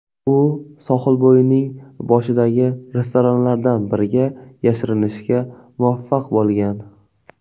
U sohilbo‘yining boshidagi restoranlardan biriga yashirinishga muvaffaq bo‘lgan.